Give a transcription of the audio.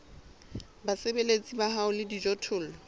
basebeletsi ba hao le dijothollo